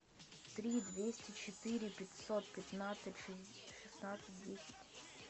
три двести четыре пятьсот пятнадцать шестнадцать десять